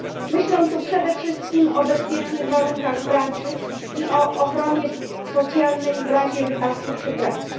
Myślę tu przede wszystkim o bezpiecznych warunkach pracy i o ochronie socjalnej w razie wypadku przy pracy.